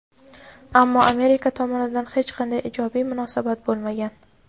ammo Amerika tomonidan hech qanday ijobiy munosabat bo‘lmagan.